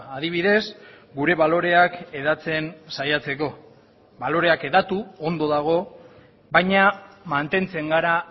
adibidez gure baloreak hedatzen saiatzeko baloreak hedatu ondo dago baina mantentzen gara